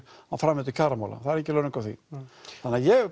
á framvindu kjaramála þannig ég